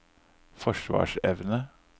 forsvarsevne